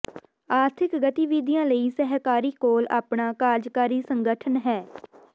ਆਰਥਿਕ ਗਤੀਵਿਧੀਆਂ ਲਈ ਸਹਿਕਾਰੀ ਕੋਲ ਆਪਣਾ ਕਾਰਜਕਾਰੀ ਸੰਗਠਨ ਹੈ